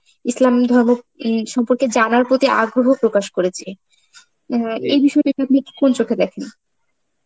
ইসলাম ধর্ম উম সম্পর্কে জানার প্রতি আগ্রহ প্রকাশ করেছে. হম এই বিষয়টাকে আপনি কোন চোখে দেখেন?